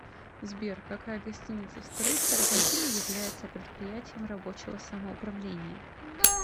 сбер какая гостиница в столице аргентины является предприятием рабочего самоуправления